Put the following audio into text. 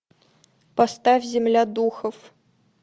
поставь земля духов